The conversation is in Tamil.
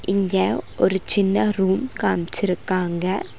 இங்க ஒரு சின்ன ரூம் காம்சிருக்காங்க.